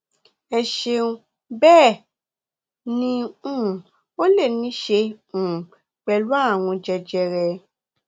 ẹ ṣeun bẹ́ẹ̀ ni um ó lè ní í ṣe um pẹ̀lú ààrùn jẹjẹrẹ